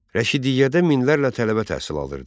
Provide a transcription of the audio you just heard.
Rəşidiyyədə minlərlə tələbə təhsil alırdı.